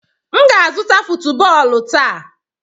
M ga-azụta football taa.